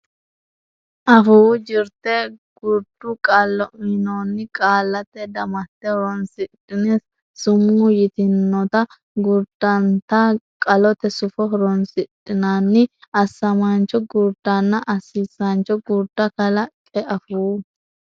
Afuu Jirte Gurdu Qallo uynoonni qaallate damatte horonsidhine sumuu yitannota gurdunnita qalote sufo horonsidhinanni assamaancho gurdanna assiisaancho gurda kalaqqe Afuu.